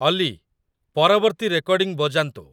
ଅଲି, ପରବର୍ତ୍ତୀ ରେକର୍ଡିଂ ବଜାନ୍ତୁ